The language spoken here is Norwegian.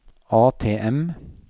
ATM